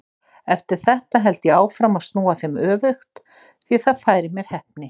Eftir þetta held ég áfram að snúa þeim öfugt því það færir mér heppni.